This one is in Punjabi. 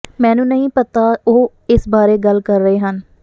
ਮੈਨੂੰ ਨਹੀਂ ਪਤਾ ਉਹ ਇਸ ਬਾਰੇ ਗੱਲ ਕਰ ਰਹੇ ਹਨ